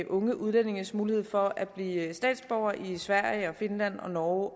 unge udlændinges mulighed for at blive statsborgere i sverige finland norge